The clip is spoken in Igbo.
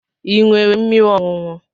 Ị nwere mmiri ọṅụṅụ?